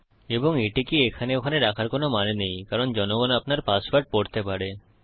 এবং এটিকে এখানে ওখানে রাখার কোনো মানে নেই কারণ জনগণ আপনার পাসওয়ার্ড পড়তে পারে